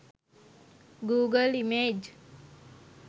google image